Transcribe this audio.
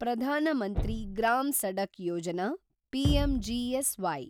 ಪ್ರಧಾನ ಮಂತ್ರಿ ಗ್ರಾಮ್ ಸಡಕ್ ಯೋಜನಾ (ಪಿಎಂಜಿಎಸ್ವೈ)